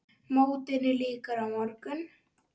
Mótinu lýkur á morgun.